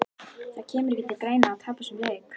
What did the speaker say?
Það kemur ekki til greina að tapa þessum leik!